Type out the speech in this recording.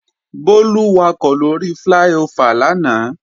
Bólú wakọ̀ lóri fláí-ofà lánàá